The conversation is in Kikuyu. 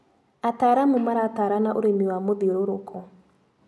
Ataaramu maratarana ũrĩmi wa mũthiũrũrũko.